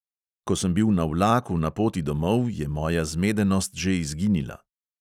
Ko sem bil na vlaku na poti domov, je moja zmedenost že izginila.